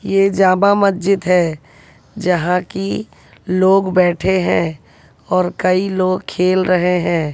ये जामा मस्जिद है जहां कि लोग बैठे हैं और कई लोग खेल रहे हैं।